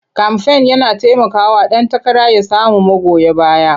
Kamfen yana taimakawa ɗan takara ya samu magoya baya.